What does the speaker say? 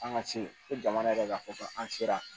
An ka se ko jamana yɛrɛ ka fɔ ko an sera